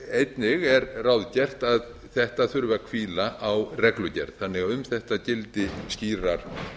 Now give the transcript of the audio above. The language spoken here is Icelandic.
einnig er ráðgert að þetta þurfi að hvíla á reglugerð þannig að um þetta gildi skýrar